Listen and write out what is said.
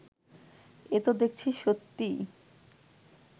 এ তো দেখছি সত্যিই